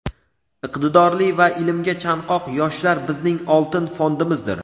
iqtidorli va ilmga chanqoq yoshlar bizning "oltin fondimizdir".